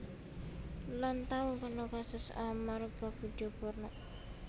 Lan tau kena kasus amarga vidio porno